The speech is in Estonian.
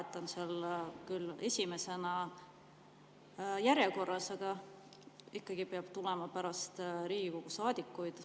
Ta on seal küll esimesena järjekorras, aga ikkagi peab tulema pärast Riigikogu saadikuid.